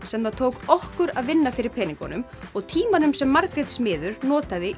sem það tók okkur að vinna fyrir peningunum og tímanum sem Margrét smiður notaði